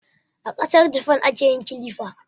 A Kasar Jafan ake yin kilifa